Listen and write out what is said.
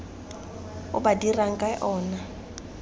o ba dirang ka ona